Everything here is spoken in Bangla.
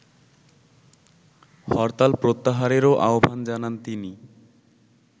হরতাল প্রত্যাহারেরও আহ্বান জানান তিনি